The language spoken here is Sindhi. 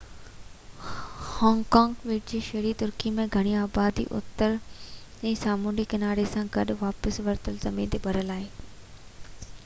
هانگ ڪانگ ٻيٽ جي شهري ترقی جی گھڻي آبادي اترهين سامونڊي ڪناري سان گڏ واپس ورتل زمين تي ڀريل آهي